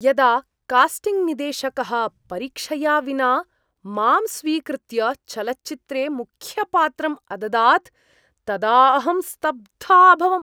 यदा कास्टिंग् निदेशकः परीक्षया विना माम् स्वीकृत्य, चलच्चित्रे मुख्यपात्रं अददात् तदा अहं स्तब्धा अभवम्।